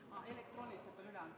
Eelnõu on elektrooniliselt üle antud.